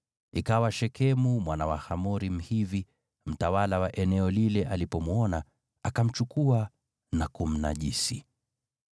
Ikawa Shekemu mwana wa Hamori Mhivi, mtawala wa eneo lile alipomwona, akamchukua na kumnajisi.